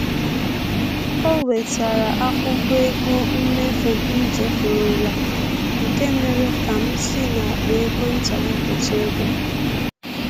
O wetere akwụkwọ ego mmefu m chefurula, nke mere ka m si akpa ego nta wepụta ego